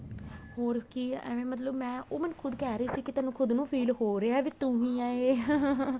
ਹੋਰ ਕੀ ਐਵੇ ਮਤਲਬ ਮੈਂ ਉਹ ਮੈਨੂੰ ਖੁੱਦ ਕਹਿ ਰਹੀ ਸੀ ਕੀ ਤੈਨੂੰ ਖੁੱਦ ਨੂੰ feel ਹੋ ਰਹਿਆ ਵੀ ਤੂੰ ਹੀ ਹੈ ਏ